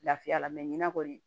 Lafiya la ɲina kɔni